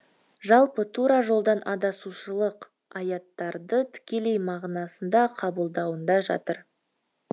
жалпы тура жолдан адасушылық аяттарды тікелей мағынасында қабылдауында жатыр